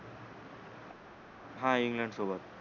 हा इंग्लंड सोबत